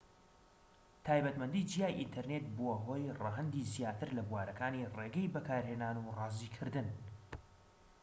تایبەتمەندی جیای ئینتەرنێت بووە هۆی ڕەهەندی زیاتر لە بوارەکانی ڕێگەی بەکارهێنان و ڕازیکردن